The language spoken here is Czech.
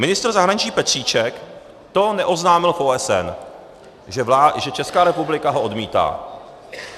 Ministr zahraničí Petříček to neoznámil v OSN, že Česká republika ho odmítá.